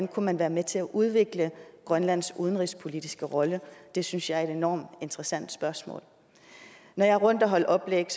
kunne være med til at udvikle grønlands udenrigspolitiske rolle det synes jeg er et enormt interessant spørgsmål når jeg er rundt at holde oplæg